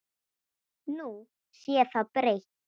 Nú sé það breytt.